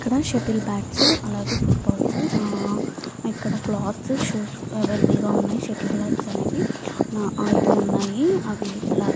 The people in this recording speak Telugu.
ఇక్కడ షటల్ బాట్స్ అలాగే ఫుట్ బాల్స్ ఆ ఇక్కడ క్లోత్స్ షూస్ అవైలబుల్ గ వున్నాయి షటల్ బాట్స్ అనేవి నాలుగు అయుదు ఉన్నాయి అవి --